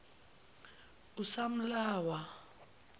usamlawa